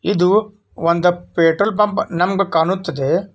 ಇದು ಒಂದು petrol bunk ನಮ್ಮಗೆ ಕಾಣುತ್ತಿದೆ.